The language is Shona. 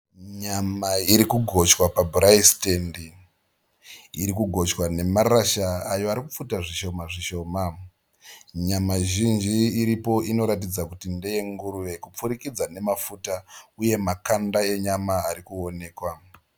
Nyama iri kugochwa paburai sitendi. Iri kugochwa nemaratya arikupfuta zvishoma zvishoma. Nyama zvinji ndeyenguruve kupfurikidza nemafuta uye makanda enyama ari kuoneka.